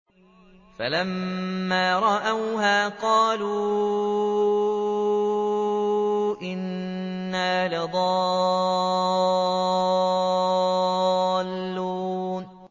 فَلَمَّا رَأَوْهَا قَالُوا إِنَّا لَضَالُّونَ